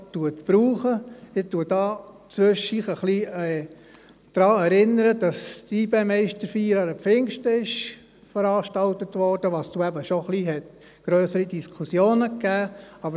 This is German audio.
Ich erinnere hier zwischendurch daran, dass die YB-Meisterfeier an Pfingsten veranstaltet wurde, und das hat eben schon zu etwas grösseren Diskussionen geführt.